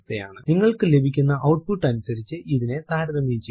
നിങ്ങൾക്കു ലഭിക്കുന്ന ഔട്പുട്ട് അനുസരിച്ച് ഇതിനെ താരതമ്യം ചെയ്യുക